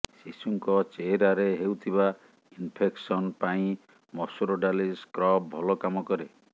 ଶିଶୁଙ୍କ ଚେହେରାରେ ହେଉଥିବା ଇନଫେକ୍ସନ ପାଇଁ ମସୁର ଡାଲି ସ୍କ୍ରବ୍ ଭଲ କାମ କରେ